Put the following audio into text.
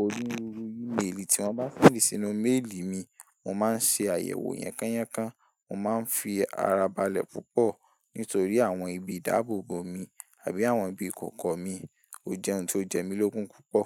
òrúruru email tí wọ́n bá fí sínú mail mi, mo máa ń ṣe àyẹ̀wò yànkàn yànkàn. Mo má ń fi ara balẹ̀ púpọ̀ nítorí àwọn ibi dáàbò bo mi àbí àwọn ibi kòkò mi. Ó jẹ́ ohun tó jẹ mí lógún púpọ̀.